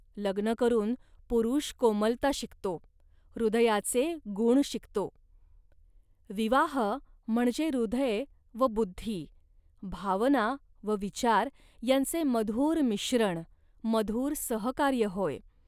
लग्न करून पुरुष कोमलता शिकतो, हृदयाचे गुण शिकतो. विवाह म्हणजे हृदय व बुद्धी, भावना व विचार यांचे मधुर मिश्रण, मधुर सहकार्य होय